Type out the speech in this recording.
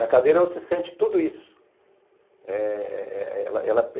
Na cadeira você sente tudo isso.